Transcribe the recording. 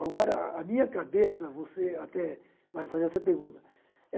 Agora, a minha cabeça, você até vai fazer essa pergunta.